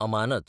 अमानत